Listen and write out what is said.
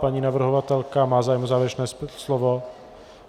Paní navrhovatelka má zájem o závěrečné slovo?